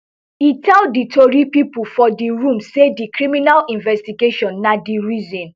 e tell di tori pipo for di room say di criminal investigation na di reason